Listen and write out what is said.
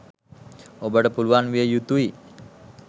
ඔබට පුළුවන් විය යුතුයි.